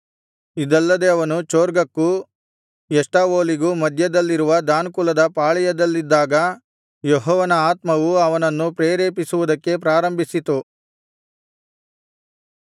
ಇದಲ್ಲದೆ ಅವನು ಚೊರ್ಗಕ್ಕೂ ಎಷ್ಟಾವೋಲಿಗೂ ಮಧ್ಯದಲ್ಲಿರುವ ದಾನ್ ಕುಲದ ಪಾಳೆಯದಲ್ಲಿದ್ದಾಗ ಯೆಹೋವನ ಆತ್ಮವು ಅವನನ್ನು ಪ್ರೇರೇಪಿಸುವುದಕ್ಕೆ ಪ್ರಾರಂಭಿಸಿತು